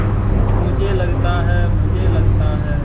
मुझे लगता है मुझे लगता है